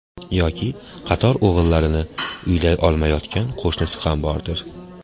Yoki qator o‘g‘illarini uylay olmayotgan qo‘shnisi ham bordir.